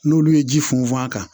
N'olu ye ji funfun a kan